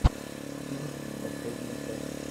стинт последняя часть